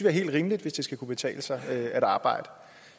er helt rimeligt hvis det skal kunne betale sig at arbejde